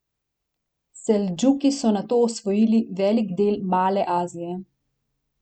Seldžuki so nato osvojili velik del Male Azije.